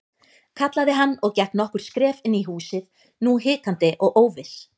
kallaði hann og gekk nokkur skref inn í húsið, nú hikandi og óviss.